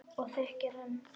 Og þykir enn.